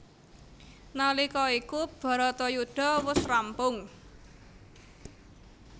Nalika iku bharatayudha wus rampung